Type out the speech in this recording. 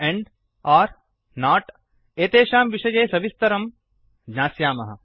and and or not एतेषां विषये सविवरं ज्ञास्यामः